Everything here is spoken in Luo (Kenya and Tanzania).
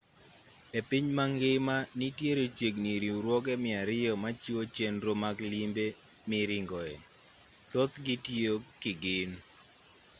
e piny mangima nitiere chiegni riwruoge 200 machiwo chenro mag limbe miringoe thothgi tiyo kigin